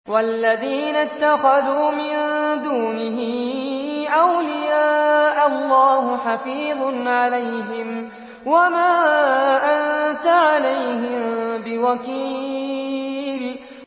وَالَّذِينَ اتَّخَذُوا مِن دُونِهِ أَوْلِيَاءَ اللَّهُ حَفِيظٌ عَلَيْهِمْ وَمَا أَنتَ عَلَيْهِم بِوَكِيلٍ